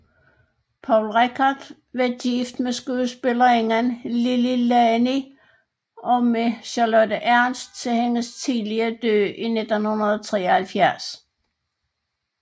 Poul Reichhardt var gift med skuespillerinderen Lili Lani og med Charlotte Ernst til hendes tidlige død i 1973